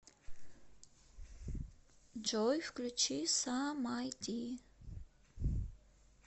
джой включи са май ди